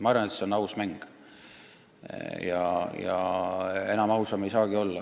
Ma arvan, et see on aus mäng – enam ausam ei saagi olla.